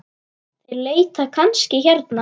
Þeir leita kannski hérna.